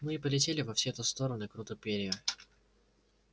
ну и полетели во все-то стороны круты перья